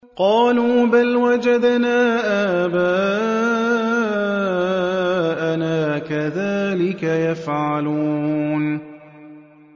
قَالُوا بَلْ وَجَدْنَا آبَاءَنَا كَذَٰلِكَ يَفْعَلُونَ